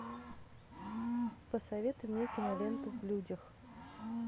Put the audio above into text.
посоветуй мне киноленту в людях